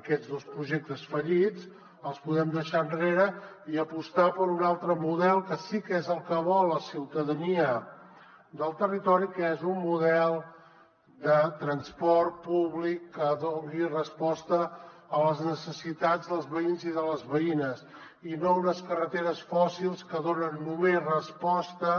aquests dos projectes fallits els podem deixar enrere i apostar per un altre model que sí que és el que vol la ciutadania del territori que és un model de transport públic que doni resposta a les necessitats dels veïns i de les veïnes i no unes carreteres fòssils que donen només resposta